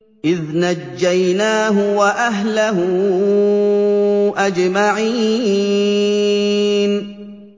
إِذْ نَجَّيْنَاهُ وَأَهْلَهُ أَجْمَعِينَ